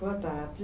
Boa tarde.